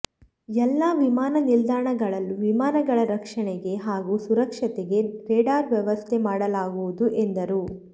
ಎಲ್ಲ ವಿಮಾನ ನಿಲ್ದಾಣಗಳಲ್ಲೂ ವಿಮಾನಗಳ ರಕ್ಷಣೆಗೆ ಹಾಗೂ ಸುರಕ್ಷತೆಗೆ ರೆಡಾರ್ ವ್ಯವಸ್ಥೆ ಮಾಡಲಾಗುವುದು ಎಂದರು